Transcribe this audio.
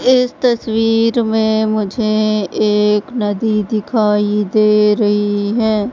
इस तस्वीर में मुझे एक नदी दिखाई दे रही है।